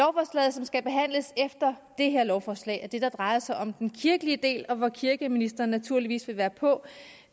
som skal behandles efter det her lovforslag er det der drejer sig om den kirkelige del og hvor kirkeministeren naturligvis vil være på